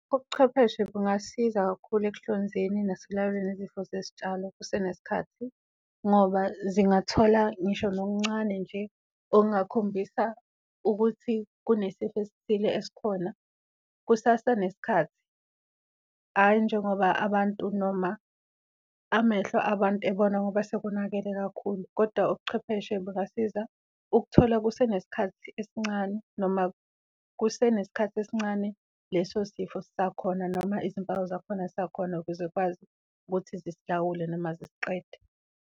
Ubuchwepheshe bungasiza kakhulu ekuhlonzeni nasekulawuleni izifo zezitshalo kusenesikhathi ngoba zingathola ngisho nokuncane nje okungakhombisa ukuthi kunesifo esithile esikhona kusasenesikhathi, ayi njengoba abantu noma amehlo abantu ebona ngoba sekonakele kakhulu. Kodwa ubuchwepheshe bungasiza ukuthola kusenesikhathi esincane noma kusenesikhathi esincane leso sifo sisakhona, noma izimpawu zakhona zisakhona ukuze y'kwazi ukuthi zisilawule noma zisiqede.